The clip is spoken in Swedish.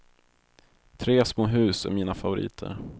Tre små hus är mina favoriter.